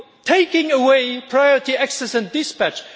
taking away priority access and dispatch?